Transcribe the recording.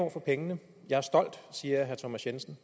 ord for pengene jeg er stolt siger herre thomas jensen